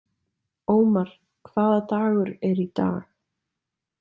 Ómar, hvaða dagur er í dag?